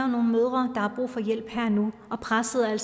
nogle mødre der har brug for hjælp her og nu og presset er